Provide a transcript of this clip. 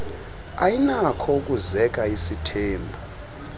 ayinakho ukuzeka isithembu